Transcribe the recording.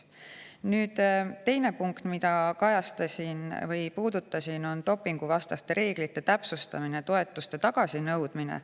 Nüüd, teine punkt, mida ma puudutasin, on dopinguvastaste reeglite täpsustamine ja toetuste tagasinõudmine.